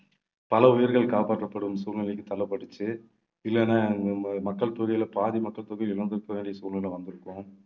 பல உயிர்கள் காப்பாற்றப்படும் சூழ்நிலைக்கு தள்ளப்பட்டுச்சு இல்லைன்னா அஹ் ம~ மக்கள் தொகையிலே பாதி மக்கள் தொகை இழந்திருக்க வேண்டிய சூழ்நிலை வந்திருக்கும்